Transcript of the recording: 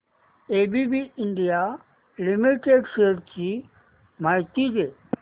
ABB India limited shares ची माहिती दे